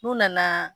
N'u nana